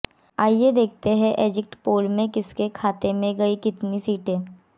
आइए देखें exit poll में किसके खाते में गईं कितनी सीटें